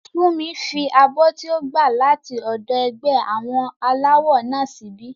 Fúnmi fi abọ́ tí ó gbà láti ọ̀dọ̀ ẹgbẹ́ àwọn aláwọ náà síbí